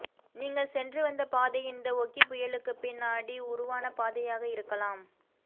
நீங்கள் சென்றுவந்த பாதை இந்த ஓக்கி புயலுக்குப்பின்னாடி உருவான பாதையாக இருக்கலாம்